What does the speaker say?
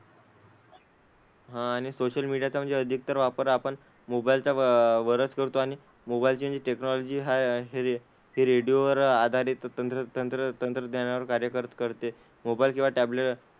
हां आणि सोशल मीडियाचा म्हणजे अधिकतर वापर आपण मोबाईलचा वरच करतो, आणि मोबाईलची जी टेक्नॉलॉजी आहे हि ही रेडिओ वर आधारित तंत्र तंत्र तंत्रज्ञानावर कार्य कर करते. मोबाईल किंवा टॅबलेट,